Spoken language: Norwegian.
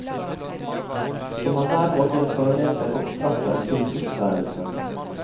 Som han hver morgen tar med seg opp trappen til kvistværelset.